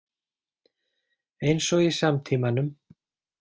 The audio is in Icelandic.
Eins og í samtímanum.